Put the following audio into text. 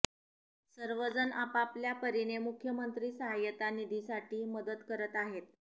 सर्वजण आपआपल्या परीने मुख्यमंत्री सहाय्यता निधीसाठी मदत करत आहेत